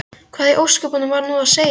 Hvað í ósköpunum var nú á seyði?